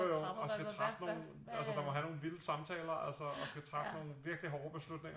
Jo jo og skal træffe nogle altså der må have nogle vilde samtaler altså og skal træffe nogle virkeligt hårde beslutninger